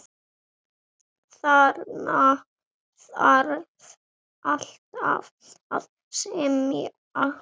Þarna þarf alltaf að semja.